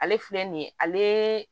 Ale filɛ nin ye ale